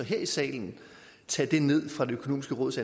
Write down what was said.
her i salen tage det ned fra det økonomiske råds